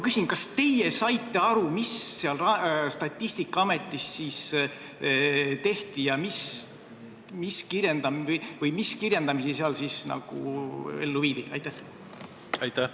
Kas teie saite aru, mida Statistikaametis siis tehti ja mis kirjendamisi seal ellu viidi?